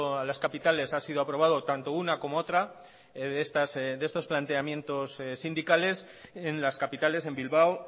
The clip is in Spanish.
a las capitales ha sido aprobado tanto una como otra de estos planteamientos sindicales en las capitales en bilbao